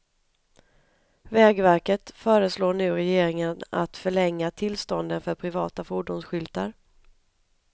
Vägverket föreslår nu regeringen att förlänga tillstånden för privata fordonsskyltar.